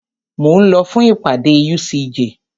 Mo ń lọ fún ìpàdé UCJ.